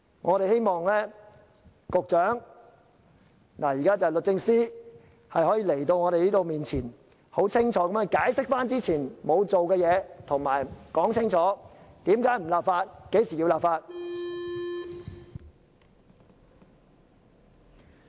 我們希望律政司司長可以到立法會，在我們面前，清楚解釋過去沒有做的事，說清楚為甚麼不立法和何時會立法。